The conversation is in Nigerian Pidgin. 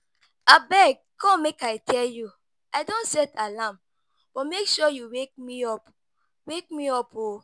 Abeg come make I tell you, I don set alarm, but make sure you wake me up. wake me up.